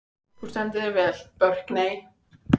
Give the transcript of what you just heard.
Þú stendur þig vel, Burkney!